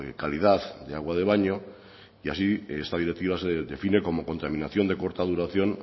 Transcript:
calidad de agua de baño y así esta directiva se define como contaminación de corta duración